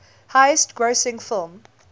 highest grossing film